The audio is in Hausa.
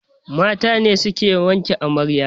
Mata ne suke wanke amarya